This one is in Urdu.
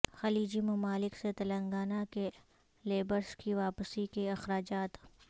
خلیجی ممالک سے تلنگانہ کے لیبرس کی واپسی کے اخراجات